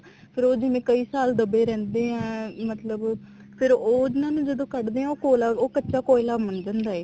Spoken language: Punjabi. ਫ਼ੇਰ ਉਹ ਕਈ ਸਾਲ ਜਿਵੇਂ ਦਬੇ ਰਹਿੰਦੇ ਆ ਮਤਲਬ ਫ਼ੇਰ ਉਹਨਾ ਨੂੰ ਜਦੋਂ ਕੱਡ ਦੇ ਆ ਉਹ ਕੋਲਾ ਉਹ ਕੱਚਾ ਕੋਇਲਾ ਬਣ ਜਾਂਦਾ ਹੈ